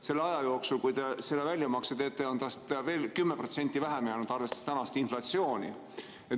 Selleks ajaks, kui te selle väljamakse teete, on seda raha veel 10% vähemaks jäänud, kui arvestada praegust inflatsiooni.